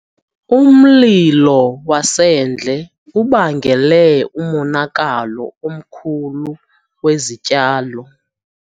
Umlilo wasendle ubangele umonakalo omkhulu wezityalo.